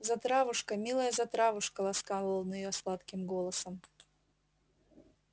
затравушка милая затравушка ласкал он её сладким голосом